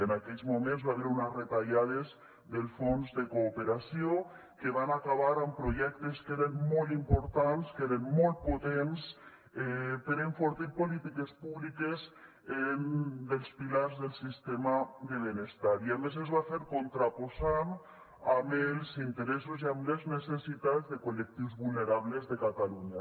en aquells moments hi va haver unes retallades del fons de cooperació que van acabar amb projectes que eren molt importants que eren molt potents per enfortir polítiques públiques dels pilars del sistema de benestar i a més es va fer contraposant amb els interessos i amb les necessitats de col·lectius vulnerables de catalunya